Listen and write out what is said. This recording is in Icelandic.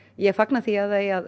ég fagna því að það eigi að